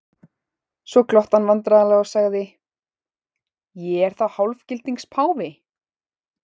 Svo glotti hann vandræðalega og sagði:-Ég er þá hálfgildings páfi?